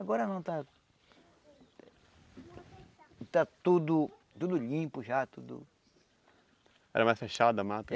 Agora não está... Está tudo tudo limpo já, tudo... Era mais fechado a mata?